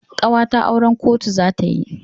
Ƙawata auran kotu za ta yi.